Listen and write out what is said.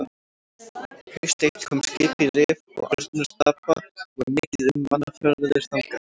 Haust eitt kom skip í Rif og Arnarstapa og var mikið um mannaferðir þangað.